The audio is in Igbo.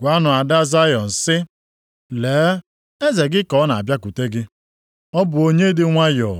“Gwanụ ada Zayọn sị, ‘lee, eze gị ka ọ na-abịakwute gị. Ọ bụ onye dị nwayọọ.